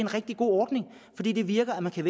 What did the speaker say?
rigtig god ordning det det virker man kan